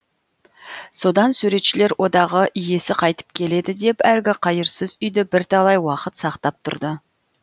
содан суретшілер одағы иесі қайтып келеді деп әлгі қайырсыз үйді бірталай уақыт сақтап тұрды